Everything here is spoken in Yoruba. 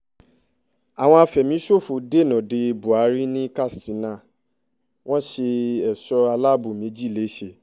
àwọn afẹ̀míṣòfò dènà dé buhari ní katsina wọ́n ṣe ẹ̀ṣọ́ aláàbọ̀ méjì lẹ́sẹ̀